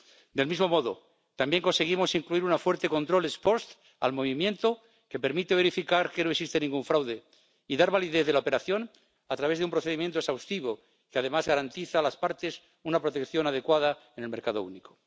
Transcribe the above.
Del mismo modo, también conseguimos incluir un fuerte control ex post al movimiento, que permite verificar que no existe ningún fraude y dar validez a la operación a través de un procedimiento exhaustivo que, además, garantiza a las partes una protección adecuada en el mercado único.